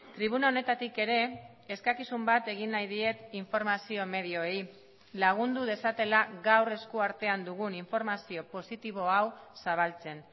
tribuna honetatik ere eskakizun bat egin nahi diet informazio medioei lagundu dezatela gaur esku artean dugun informazio positibo hau zabaltzen